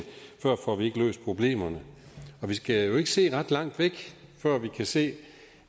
får vi ikke løst problemerne og vi skal jo ikke se ret langt væk før vi kan se